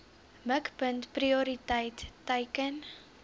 mikpunt prioriteit teiken